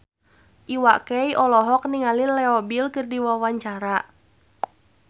Iwa K olohok ningali Leo Bill keur diwawancara